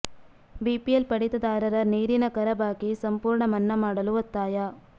BPL ಪಡಿತದಾರರ ನೀರಿನ ಕರ ಬಾಕಿ ಸಂಪೂರ್ಣ ಮನ್ನಾ ಮಾಡಲು ಒತ್ತಾಯ